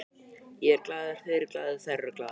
Ég er glaður, þeir eru glaðir, þær eru glaðar.